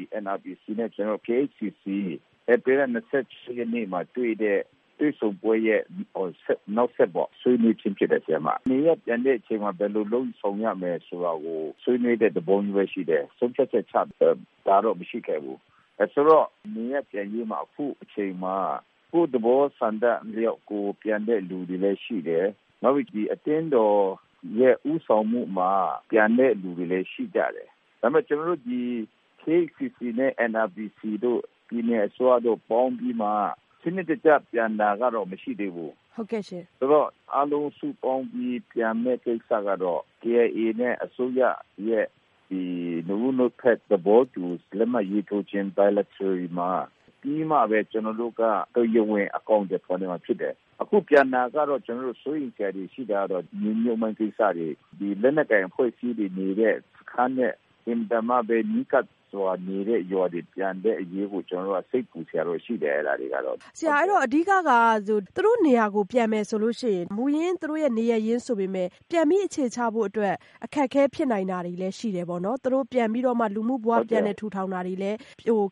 ို့ NRPC နဲ့ KHCC ဧပြီလ ၂၈ ရက်မှာတွေ့တဲ့ တွေ့ဆုံပွဲရဲ့ နောက်ဆက်တွဲပေါ့ ဆွေးနွေးခြင်းဖြစ်ပါတယ်။ နေရပ်ပြန်တဲ့အခါမှာ ဘယ်လိုလုပ်ဆောင်ရမယ်ဆိုတာကို ဆွေးနွေးတဲ့ သဘောပဲ ရှိပါတယ်။ ဆုံးဖြတ်ချက်ချတာကတော့ မရှိခဲ့ဘူး။ ဆိုတော့ နေရပ်ပြန်ရေးမှာ အခုအချိန်မှာ ကိုယ့်သဘောဆန္ဒအလောက်ပြန်တဲ့လူတွေလည်းရှိတယ်။ နောက်ပြီးအသင်းတော်ရဲ့ ဦးဆောင်မှုမှာ ပြန်တဲ့လူတွေလည်းရှိတယ်။ ဒါပေမယ့် ကျနော်တို့ဒီ NRPC နဲ့ KHCC တို့ ပြည်နယ်အစိုးရတို့ ပေါင်းပြီးမှ စနစ်တကျ ပြန်တာကတော့ မရှိသေးဘူး။ ဆိုတော့ အားလုံးစုပေါင်းပြီး ပြန်မယ့်ကိစ္စကတော့ KIA နဲ့ အစိုးရရဲ့ နှစ်ဦးနှစ်ဖက်သဘောတူရေးထိုးပြီးမှပဲ ကျနော်တို့က တရားဝင်အကောင်အထည်ဖော် ဆောင်နိုင်မှာဖြစ်တယ်။ အခုပြန်တာကတော့ ကျနော်တို့ စိုးရိမ်စရာတွေရှိတာကတော့ မြေမြုပ်မှိုင်းကိစ္စတွေ ဒီလက်နက်ကိုင်အဖွဲ့အစည်းတွေနေတဲ့ အင်မတန်မှပဲ နီးကပ်စွာနေတဲ့ ရွာတွေမှာ ပြန်တဲ့အရေးကို ကျနော်တို့က စိတ်ပူ စရာတွေတော့ရှိတယ်။ ဆရာအဲဒီတော့ အဓိကက သူတို့နေရာကို ပြန်မယ်ဆိုရင် မူရင်းသူတို့နေရပ်ရင်းဆိုပေမယ့် ပြန်ပြီးအခြေချဖို့အတွက် အခက်အခဲတွေဖြစ်နိုင်တာတွေလည်း ရှိတယ်ပေါ့နော် ၊ သူတို့လူမူဘ၀ ထူထောင်တာတွေလည်း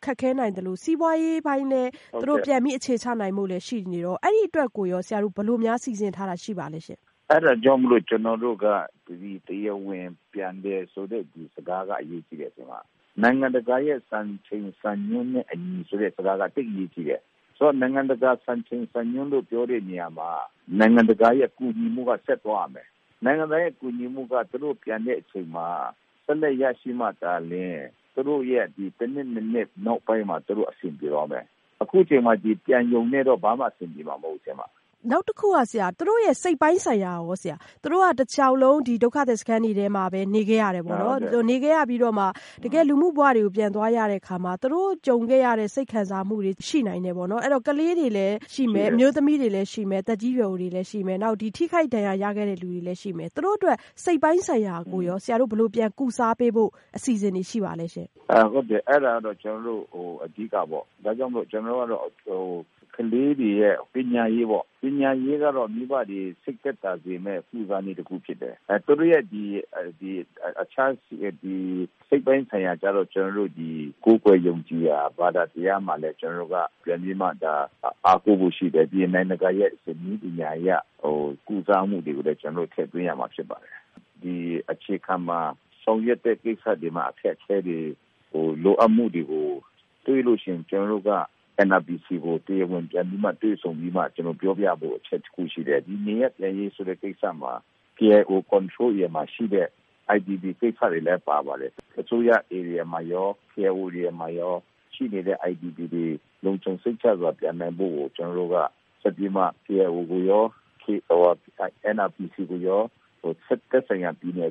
ခက်ခဲနိုင်သလို စီးပွားရေးပိုင်းလည်း သူတို့ပြန်ပြီးအခြေချနိုင်ဖို့တွေလည်းရှိနေတော့ အဲဒီအတွက်ကို ဘယ်လိုများစီစဉ်ထားတာရှိပါသလဲရှင့်။ အဲဒါကြောင့်မို့လို့ ကျနော်တို့က တရားဝင်ပြန်တယ်ဆိုတဲ့ဒီ စကားက အရေးကြီးတယ်။ နိုင်ငံတကာရဲ့စံချိန်စံညွှန်းနဲ့အညီဆိုတဲ့ စကားက သိပ်အရေးကြီးတယ်။ နိုင်ငံတကာရဲ့စံချိန်စံညွှန်းလို့ ပြောတဲ့နေရာမှာ နိုင်ငံတကာရဲ့ကူညီမှုက ဆက်သွားရမယ်။ နိုင်ငံတကာရဲ့ ကူညီမှုက သူတို့ပြန်တဲ့အချိန်မှာ ဆက်လက်ရရှိမှသာလျင် ၁ နှစ် ၂ နှစ်နောက်ပိုင်းမှ သူတို့အဆင်ပြေသွားမယ်။ အခုအချိန်မှာ ပြန်ရုံနဲ့တော့ ဘာမှ အဆင်ပြေမှာ မဟုတ်ဘူး။ နောက်တခုက သူတို့ရဲ့ စိတ်ပိုင်းဆိုင်ရာကရော သူတို့က တလျောက်လုံး ဒုက္ခသည်စခန်းတွေမှာပဲ နေခဲ့ရတယ်ပေါ့နော်။ ဒီလိုနေခဲ့ရပြီးမှ တကယ့်လူမှုဘဝတွေကို ပြန်သွားရတဲ့အခါမှာ သူတို့ ကြုံခဲ့ရတဲ့ စိတ်ခံစားမှုတွေ ရှိနိုင်တယ်ပေါ့နော် အဲဒီတော့ ကလေးတွေလည်းရှိမယ်၊ အမျိုးသမီးတွေလည်းရှိမယ်။ သက်ကြီးရွယ်အိုတွေလည်း ရှိမယ် နောက် ထိခိုက်ဒဏ်ရာရခဲ့တဲ့လူတွေလည်းရှိမယ် သူတို့အတွက် စိတ်ပိုင်းဆိုင်ရာရော ဆရာတို့ ဘယ်လို ပြန်လည်ကုစားပေးဖို့ အစီအစဉ်တွေရှိပါသလဲ။ အဲဒါကတော့ ကျနော်တို့အဓိကပေါ့ ဒါကြောင့်မို့လို့ ကျနေ်ာတို့ ကလေးတွေရဲ့ ပညာရေးပေါ့၊ ပညာရေးကတော့ မိဘတွေ စိတ်သက်သာစေမယ့် နည်းတခုဖြစ်တယ်။ သူတို့ရဲ့ စိတ်ပိုင်းဆိုင်ရာကတော့ ကျနော်တို့ ကိုးကွယ်ယုံကြည်ရာ ဘာသာတရားမှာလည်း ပြန်ပြီးတော့မှ အားကိုးဖို့ရှိတယ်။ ပြီးတော့ နိုင်ငံတကာရဲ့ နည်းပညာအရ ကုစားမှုတွေကိုလည်း ကျနော်တို့ ထည့်သွင်းရမှာဖြစ်ပါတယ်။ ဒီအခြေခံမှာ ဆောင်ရွက်တဲ့ကိစ္စတွေမှာ အခက်အခဲတွေ လိုအပ်မှုတွေကိုတွေ့ရင် NRPC ကို လိုအပ်တာတွေ ပြန်လည်ပြောကြားပြီး တွေ့ဆုံဖို့ ရှိတယ်။ ဒီနေရပ်ပြန်ရေးကိစ္စမှာ KIO ထိန်းချုပ်နယ်မြေမှာရှိတဲ့ IDP ကိစ္စတွေလည်း ပါပါတယ်။ အစိုးရ ဧရိယာမှာရော KIO နေရာမှာရော ရှိနေတဲ့ IDP တွေလုံခြုံစိတ်ချစွာ ပြန်နိုင်ဖို့ကို ကျနော်တို့က ဆက်ပြီးမှ KIO ကိုရော NRPC ကိုရော သက်ဆိုင်ရာ ပြည်နယ်